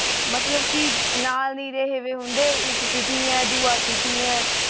ਮਤਲਬ ਕੀ ਨਾਲ ਨਹੀਂ ਰਹੇ ਵੀ ਹੁੰਦੇ ਇੱਕ ਕੀਤੀ ਹੈ ਦੁਆ ਕੀਤੀ ਹੈ